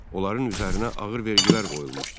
Onların üzərinə ağır vergilər qoyulmuşdu.